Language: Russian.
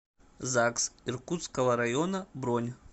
загс иркутского района бронь